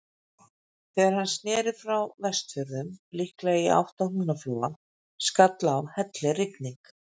Þegar hann sneri frá Vestfjörðum, líklega í átt að Húnaflóa, skall á hellirigning.